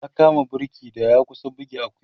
ya kama burki da ya kusa buge Akuya